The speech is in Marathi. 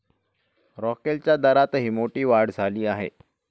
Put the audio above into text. रॉकेलच्या दरातही मोठी वाढ झाली आहे.